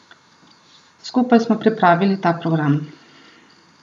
Skupaj smo pripravili ta program.